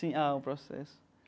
Sim, ah, o processo.